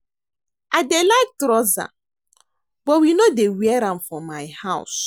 I dey like trouser but we no dey wear am for my house